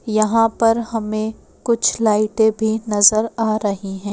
यहाँ पर हमें कुछ लाइटें भी नजर आ रही हैं।